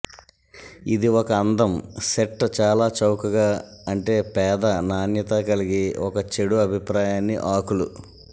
ఇది ఒక అందం సెట్ చాలా చౌకగా అంటే పేద నాణ్యత కలిగి ఒక చెడు అభిప్రాయాన్ని ఆకులు